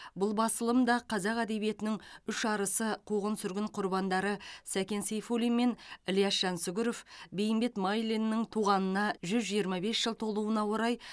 бұл басылым да қазақ әдебиетінің үш арысы қуғын сүргін құрбандары сәкен сейфуллин мен ілияс жансүгіров бейімбет майлиннің туғанына жүз жиырма бес жыл толуына орай